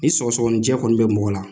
I sɔgɔsɔgɔnijɛ kɔni bɛ mɔgɔ la